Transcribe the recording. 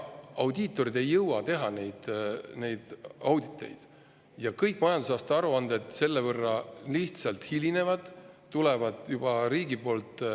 Audiitorid ei jõua auditeid teha ja kõik majandusaasta aruanded selle võrra hilinevad.